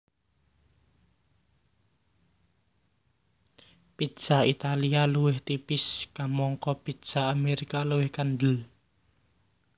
Pizza Italia luwih tipis kamangka pizza Amérika luwih kandel